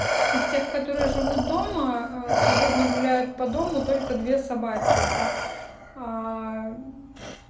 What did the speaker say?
из тех которые живут дома ээ свободно гуляют по дому только две собаки это аа